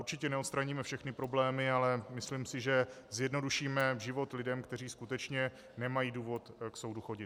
Určitě neodstraníme všechny problémy, ale myslím si, že zjednodušíme život lidem, kteří skutečně nemají důvod k soudu chodit.